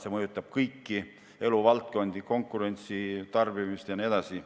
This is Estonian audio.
See mõjutab kõiki eluvaldkondi, konkurentsi, tarbimist jne.